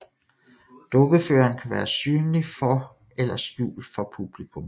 Dukkeføreren kan være synlig for eller skjult for publikum